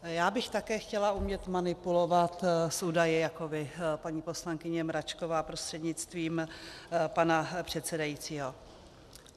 Já bych také chtěla umět manipulovat s údaji jako vy, paní poslankyně Mračková prostřednictvím pana předsedajícího.